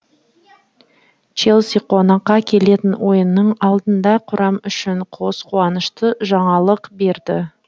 челси қонаққа келетін ойынның алдында құрам үшін қос қуанышты жаңалық бар